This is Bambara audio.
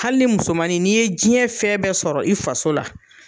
Hali ni musomanin n'i ye jiyɛn fɛn bɛɛ sɔrɔ i faso la